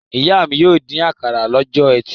Ìyá mi yóò dín àkàrà lọ́jọ́ ẹtì.